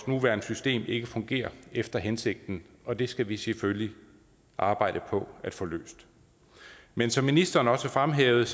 nuværende system ikke fungerer efter hensigten og det skal vi selvfølgelig arbejde på at få løst men som ministeren også fremhævede